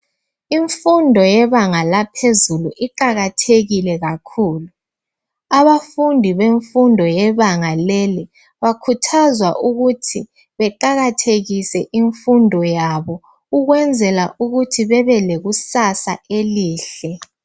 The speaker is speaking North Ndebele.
Imfundo yebanga laphezulu iqakathekile kakhulu. Abafundi bemfundo yebanga leli bakhuthazwa ukuthi beqakathekise imfundo yabo ukwenzela ukuthi bebelekusasa elihle.